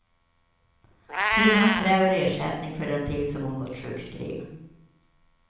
Kvinnan kräver ersättning för den tid som hon gått sjukskriven.